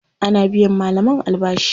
Ana biyan malaman albashi.